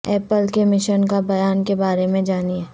apple کے mission کا بیان کے بارے میں جانیں